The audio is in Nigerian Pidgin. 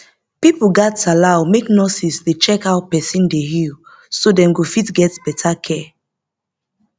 pipo gats allow make nurses dey check how person dey heal so dem go fit get better care